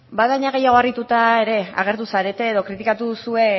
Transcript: bada gehiago harrituta ere agertu zarete edo kritikatu duzue